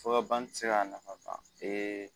Fɔ ka banni ti se ka nafa ban